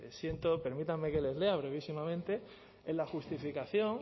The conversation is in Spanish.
siento permítanme que les lea brevísimamente en la justificación